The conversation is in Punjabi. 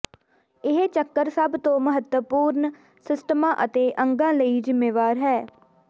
ਇਹ ਚੱਕਰ ਸਭ ਤੋਂ ਮਹੱਤਵਪੂਰਣ ਸਿਸਟਮਾਂ ਅਤੇ ਅੰਗਾਂ ਲਈ ਜ਼ਿੰਮੇਵਾਰ ਹੈ